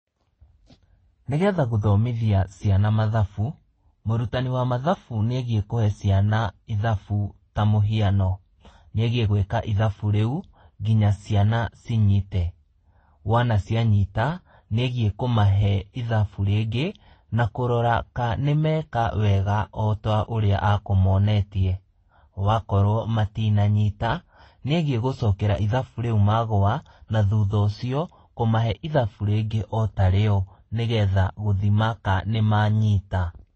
Nĩ getha gũthomithia ciana mathabu, mũrũtani wa mathabu n ĩegiĩ kũhe ciana ithabu ta mũhiano, nĩegiĩ gwika ithabu rĩũ nginya ciana cinyite. Wona cianyita nĩegiĩ kũmahe ithabu rĩngĩ, na kũrora ka nĩmeka wega ota ũrĩa akũmonetie. Wakorwo matinanyita nĩegiĩ gũcokera ithabu rĩũ magũa, na thutha ũcio kũmahe ithabũ rĩngĩ otarĩo nĩ getha gũthima ka nĩ manyita.